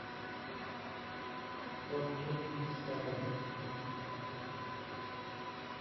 топ гир дискавери